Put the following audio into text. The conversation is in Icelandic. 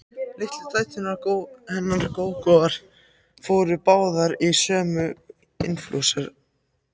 Litlu dæturnar hennar Gógóar fóru báðar úr sömu inflúensunni.